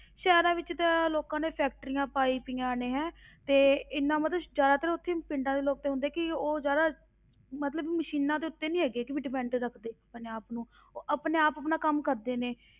ਸ਼ਹਿਰਾਂ ਵਿੱਚ ਤੇ ਲੋਕਾਂ ਨੇ factories ਪਾਈ ਪਈਆਂ ਨੇ ਹੈਂ ਤੇ ਇੰਨਾ ਮਤਲਬ ਜ਼ਿਆਦਾਤਰ ਉੱਥੇ ਪਿੰਡਾਂ ਦੇ ਲੋਕ ਤੇ ਹੁੰਦਾ ਕਿ ਉਹ ਜ਼ਿਆਦਾ, ਮਤਲਬ ਮਸ਼ੀਨਾਂ ਦੇ ਉੱਤੇ ਨੀ ਹੈਗੇ, ਵੀ depend ਰੱਖਦੇ ਆਪਣੇ ਆਪ ਨੂੰ, ਉਹ ਆਪਣੇ ਆਪ ਆਪਣਾ ਕੰਮ ਕਰਦੇ ਨੇ,